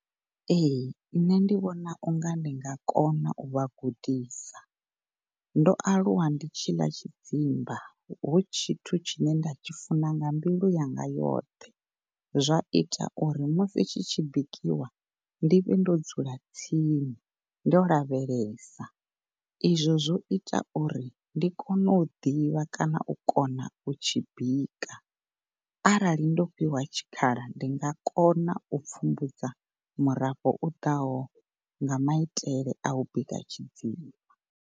Ehe, ṋne ndi vhona u nga ndi nga kona u vhagudisa ndo alulwa ndi tshi ḽa tshidzimba hu tshithu tshine nda tshi funa nga yanga yoṱhe zwa itauri musi tshi tshi bikiwa ndi vhe ndo dzula tsini ndo lavhelesa i zwo, zwo itauri ndi kone u ḓivha kana u kona u tshi bika. Arali ndo fhiwa tshikhala ndi nga kona pfumbudza murafho u ḓaho nga maitele au bika tshidzimba.